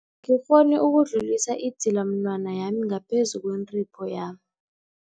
gikghoni ukudlulisa idzilamunwana yami ngaphezu kwentipho yami.